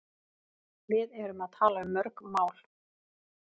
Við erum að tala um mörg mál.